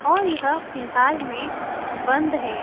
और यह फिलहाल में बंद है।